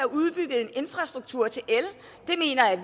udbygget infrastrukturen til